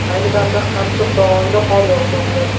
Ayni damda Qamchiq dovonida qor yog‘moqda.